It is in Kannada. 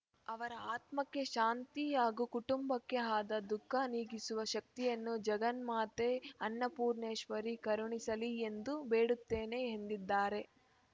ಅವರ ಆತ್ಮಕ್ಕೆ ಶಾಂತಿ ಹಾಗೂ ಕುಟುಂಬಕ್ಕೆ ಆದ ದುಃಖ ನೀಗಿಸುವ ಶಕ್ತಿಯನ್ನು ಜಗನ್ಮಾತೆ ಅನ್ನಪೂರ್ಣೇಶ್ವರಿ ಕರುಣಿಸಲಿ ಎಂದು ಬೇಡುತ್ತೇವೆ ಎಂದಿದ್ದಾರೆ